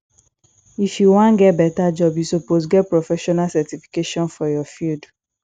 if you wan get beta job you suppose get professional certification for your field